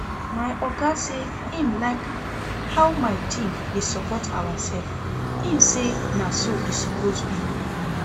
My oga say im like how my team dey support ourself, im say na so e suppose be